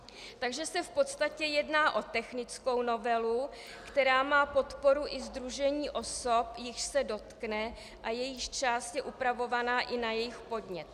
Takže se v podstatě jedná o technickou novelu, která má podporu i sdružení osob, jichž se dotkne a jejíž část je upravovaná i na jejich podnět.